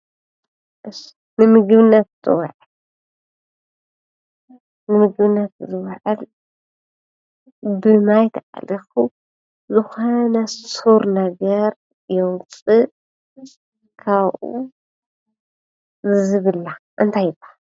ንምግብነት ጥቕሚ ንምግብነት ዝዉዕል ብማይ ተኣሊኹ ዝኾነ ሩር ነገር የዉፅእ ካብኡ ዝብላዕ እንታይ ይብሃል?